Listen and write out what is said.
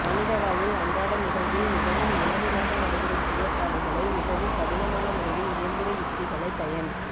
மனித வாழ்வில் அன்றாட நிகழ்வில் மிகவும் இலகுவாக நடைபெறும் செயற்பாடுகளை மிகவும் கடினமான முறையில் இயந்திர யுத்திகளை பயன்